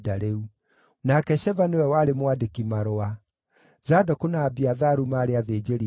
nake Sheva nĩwe warĩ mwandĩki-marũa; Zadoku na Abiatharu maarĩ athĩnjĩri-Ngai;